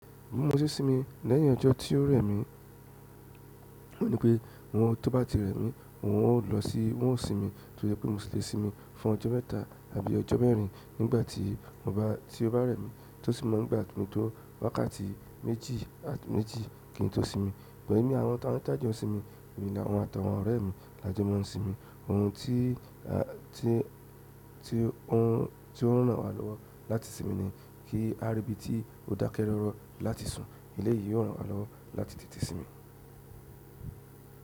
Mo mọ si sinmi lẹ́yìn ọjọ́ tí ó rẹ̀ mí, wọ́n ní pé wọn tó bá ti rẹ̀ mí wọn ó lọ sí wọn ó sinmi tó jẹ pé mo sì le sinmi fún ọjọ́ mẹ́ta àbí ọjọ́ mẹ́rin nígbà tí mo bá tí ó bá rẹ̀ mí tó sì mọ̀ n gbà mi tó wákàtí méjì méjì kí n tó sinmi. Ìgbà yìí ní àwọn tá ń tá n jo sinmi, èmi làwọn àtàwọn ọ̀rẹ́ mi làjọ mó n sinmi. Oun ti a ti ti o n, ti o n ran wa lowo láti sinmi ni ki a ri ibi ti o dake rooro láti sun, eleyi yóò ran wa lowo láti tètè sinmi.